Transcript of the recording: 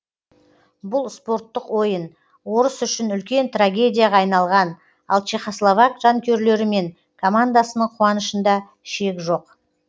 бұл спорттық ойын орыс үшін үлкен трагедияға айналған ал чехословак жанкүйерлері мен командасының қуанышында шек жоқ